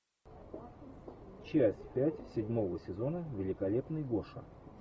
часть пять седьмого сезона великолепный гоша